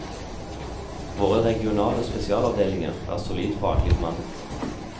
Våre regionale spesialavdelinger er solid faglig bemannet.